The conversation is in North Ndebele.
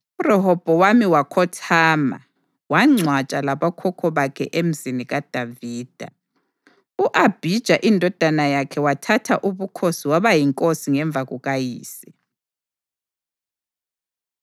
URehobhowami wakhothama, wangcwatshwa labokhokho bakhe eMzini kaDavida. U-Abhija, indodana yakhe wathatha ubukhosi waba yinkosi ngemva kukayise.